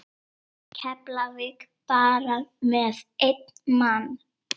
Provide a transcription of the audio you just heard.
Keflavík bara með einn mann?